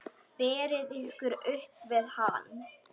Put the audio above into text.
Berið ykkur upp við hann!